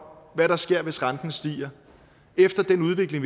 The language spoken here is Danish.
hvad der sker hvis renten stiger efter den udvikling